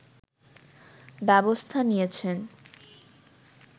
ব্যবস্থা নিয়েছেন